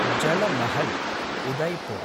Jal Mahal, Udaipur